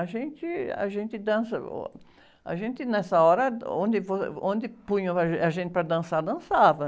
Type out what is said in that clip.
A gente, a gente dança, uh, a gente nessa hora, onde, onde punham ah, a gente para dançar, dançava.